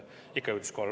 Ikka jõudis kohale.